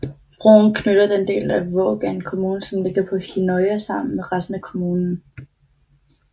Broen knytter den del af Vågan kommune som ligger på Hinnøya sammen med resten af kommunen